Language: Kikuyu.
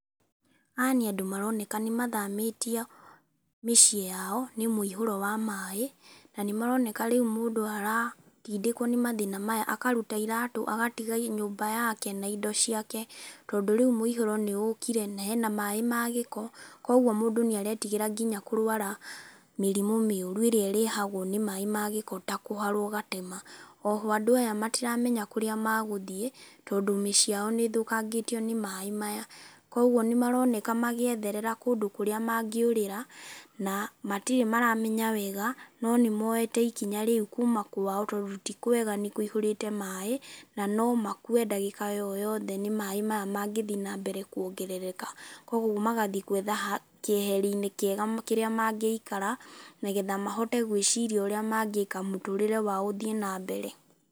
Aya nĩ andũ maroneka nĩ mathamĩtio mĩciĩ yao nĩ mũihũro wa maĩ na nĩmaroneka rĩu mũndũ aratindĩkwo nĩ mathĩna maya akaruta itarũ agatiga nyũmba yake na indo ciake tondũ rĩu mũihũro nĩũkire na maĩ na hena maĩ ma gĩko kũguo mũndũ nĩaretigĩra nginya kũrwara mĩrimũ mĩũru ĩrĩa ĩrehagwo nĩ maĩ ma gĩko ta kũharwo gatema. Oho andũ aya matiramenya kũrĩa magũthiĩ tondĩ mĩciĩ yao nĩthũkangĩtio ni maĩ maya kĩguo nĩ maroneka magĩĩtherera kũndũ kũrĩa mangĩũrĩra na matirĩ maramenya wega no nĩmoete ikinya rĩu kuma kwao tondũ ti kwega nĩ kũihũrĩte maĩ na no makue ndagĩika o yothe nĩ maĩ maya mangĩthiĩ nambere kuongerereka. Kũguo magathiĩ gũetha kĩeherinĩ kĩega kĩrĩa mangĩikara nĩgetha mahote gwĩciria ũrĩa mangĩka mũtũrĩre wao ũthiĩ nambere.